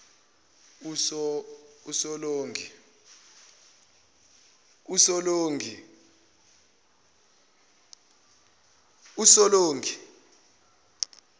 usolongi